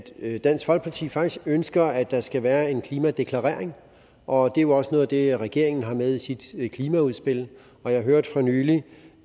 at dansk folkeparti faktisk ønsker at der skal være en klimadeklarering og det jo også noget af det regeringen har med i sit klimaudspil og jeg hørte for nylig